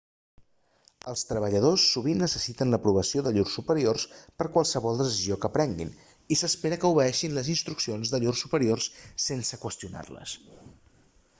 els treballadors sovint necessiten l'aprovació de llurs superiors per a qualsevol decisió que prenguin i s'espera que obeeixin les instruccions de llurs superiors sense qüestionar-les